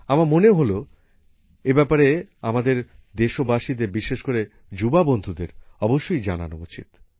আমার মনে হল এই ব্যাপারে আমাদের দেশবাসীদের বিশেষ করে যুবা বন্ধুদের অবশ্যই জানানো উচিৎ